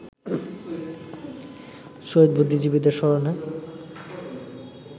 শহীদ বুদ্ধিজীবীদের স্মরণে